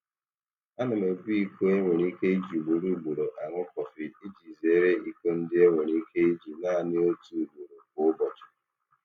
Ana m ebu iko e nwere ike iji ugboro ugboro aṅụ kọfị iji zeere iko ndị e nwere ike iji naanị otu ugboro kwa ụbọchị.